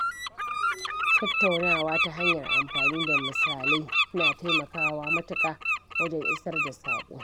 Tattaunawa ta hanyar amfani da misalai yana taimakawa matuka wajen isar da saƙo.